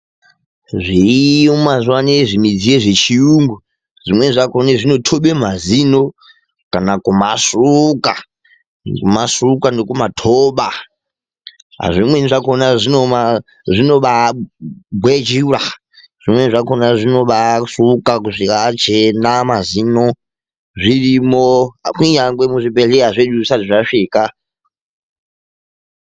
Zviriyo mazuva anawa zvimudziyo zvechiyungu ,zvimweni zvakhona zvinothobe mazino kana kumasuka kumasuka kusvika achena, zvimweni zvakhona zvino gwejura zvirimo kunyange muzvibhedhlera mwedu zvisati zvasvika.